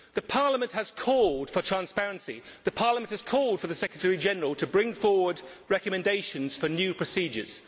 Parliament has called for transparency Parliament has called for the Secretary General to bring forward recommendations for new procedures.